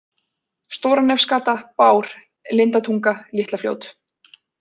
Stóranefsgata, Bár, Lindatunga, Litla-Fljót